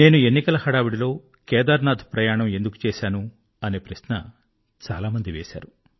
నేను ఎన్నికల హడావిడిలో కేదారనాథ్ ప్రయాణం ఎందుకు చేశాను అనే ప్రశ్న చాలా మంది వేశారు